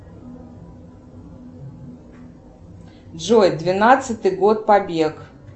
джой двенадцатый год побег